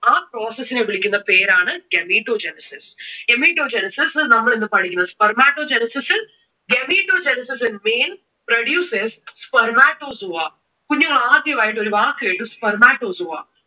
ആ process നെ വിളിക്കുന്ന പേര് ആണ് gametogenesis. Gametogenesis നമ്മൾ ഇതിനു പഠിക്കുന്ന spematogenesis. Gametogenesis in male produces spermatozoa. കുഞ്ഞുങ്ങൾ ആദ്യമായിട്ട് ഒരു വാക്കു കേട്ടു, spermatozoa.